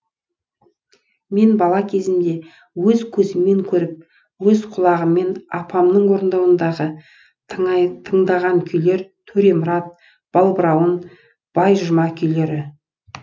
мен бала кезімде өз көзіммен көріп өз құлағыммен апамның орындауындағы тыңдаған күйлер төремұрат балбырауын байжұма күйлері